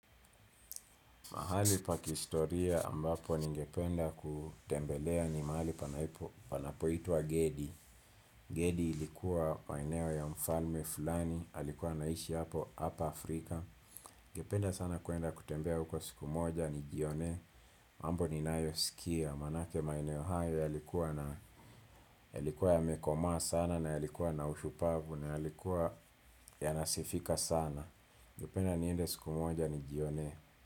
Mahali pa kihistoria ambapo ningependa kutembelea ni mahali panapo itwa Gedi. Gedi ilikuwa maeneo ya mfalme fulani alikuwa anaishi hapa Afrika. Ningependa sana kuenda kutembea huko siku moja ni jionee. Mambo ninayo sikia manake maeneo hayo yalikuwa na, ya likuwa ya mekoma sana na ya likuwa na ushupavu na ya likuwa ya nasifika sana. Ningependa niende siku moja nijionee.